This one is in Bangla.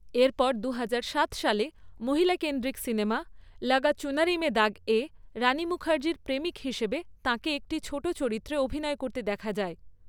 এরপর দু হাজার সাত সালে মহিলাকেন্দ্রিক সিনেমা ‘লাগা চুনারি মে দাগে' রানি মুখার্জির প্রেমিক হিসেবে তাঁকে একটি ছোট চরিত্রে অভিনয় করতে দেখা যায়।